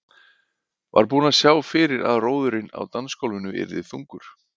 Var búinn að sjá fyrir að róðurinn á dansgólfinu yrði þungur.